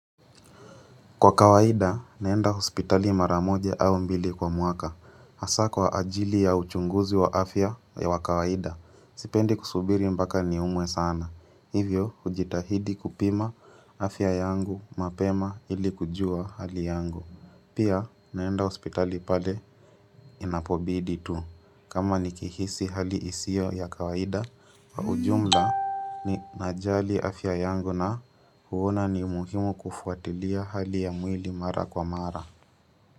Kwa kawaida, naenda hospitali mara moja au mbili kwa mwaka, hasa kwa ajili ya uchunguzi wa afya wa kawaida, sipendi kusubiri mpaka niumwe sana, hivyo hujitahidi kupima afya yangu mapema ili kujua hali yangu. Pia naenda hospitali pale inapobidi tu. Kama nikihisi hali isio ya kawaida, kwa ujumla ninajali afya yangu na huona ni muhimu kufuatilia hali ya mwili mara kwa mara.